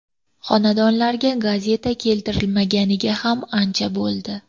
Xonadonlarga gazeta keltirilmaganiga ham ancha bo‘ldi.